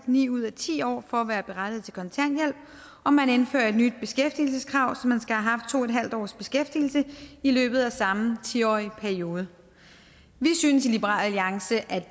ni ud af ti år for at være berettiget til kontanthjælp og man indfører et nyt beskæftigelseskrav så man skal have haft to en halv års beskæftigelse i løbet af samme ti årige periode vi synes i liberal alliance